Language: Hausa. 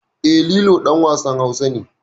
E, Lilo ɗan wasan Hausa ne.